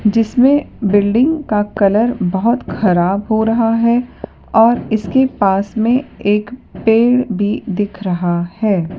जिसमें बिल्डिंग का कलर बहोत खराब हो रहा है और इसके पास में एक पेड़ भी दिख रहा है।